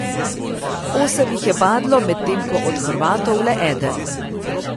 Osem jih je padlo, medtem ko od Hrvatov le eden.